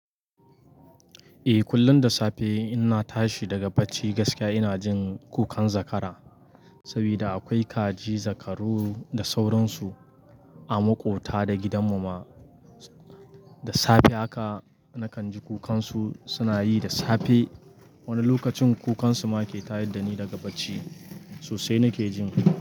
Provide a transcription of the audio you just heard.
Eh, kullum da safe ina tashi daga bacci gaskiya ina jin kukan zakara. Sabida akwai kaji, zakaru da sauransu a maƙota da gidanmu ma. Da safe haka nakan ji kukansu suna yi da safe. Wani lokacin kukansu ma ke tayar dani daga bacci sosai nake jin.